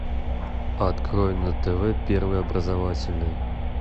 открой на тв первый образовательный